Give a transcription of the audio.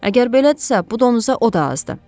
Əgər belədirsə, bu donuza o da azdır.